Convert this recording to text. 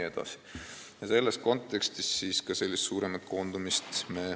Ka selles kontekstis me toetame suuremat koondumist.